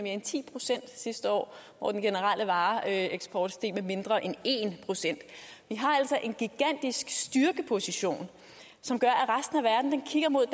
end ti procent sidste år hvor den generelle vareeksport steg med mindre end en procent vi har altså en gigantisk styrkeposition som gør at resten af verden kigger mod